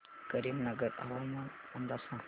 करीमनगर हवामान अंदाज सांग